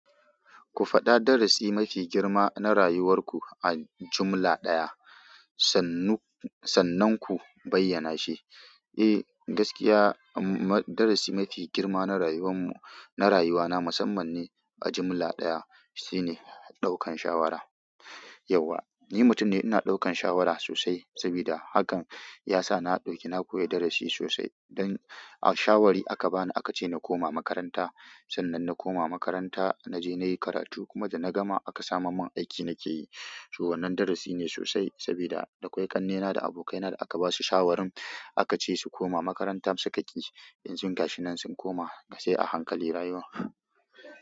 Ku faɗa darasi mafi girma na rayuwar ku a jumla ɗaya. Sannu sannunku bayyana shi eh gaskiya darasi mafi girma na rayuwanmu na rayana musamman ni a jimla ɗaya shi ne ɗaukan shawara. Yauwa, ni mutum ne ina ɗaukan shawara sosai sabida hakan ya sa na ɗauki, na koyi darasi sosai. Dan a shawari aka bani, aka ce na koma makaranta. Sannan na koma makaranta na je na yi karatu kuma da na gama aka samar min aiki nake yi. So wannan darasi ne sosai sabida da kwai ƙannena da abokaina da aka ba su shawarin, aka ce su koma makaranta, suka ƙi. Yanzun gashi nan sun koma sai a hankali rayuwan.